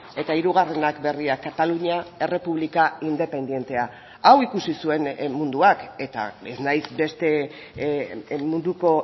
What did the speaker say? eta hirugarrenak berriak katalunia errepublika independentea hau ikusi zuen munduak eta ez naiz beste munduko